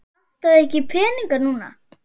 Vantar þig ekki peninga núna?